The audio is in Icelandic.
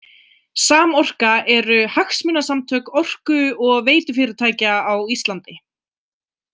Samorka eru hagsmunasamtök orku- og veitufyrirtækja á Íslandi.